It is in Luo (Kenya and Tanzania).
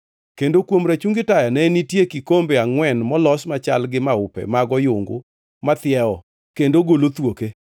Kendo kuom rachungi taya ne nitie kikombe angʼwen molos machal gi maupe mag oyungu mathiewo kendo golo thuoke.